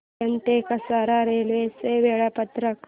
कल्याण ते कसारा रेल्वे चे वेळापत्रक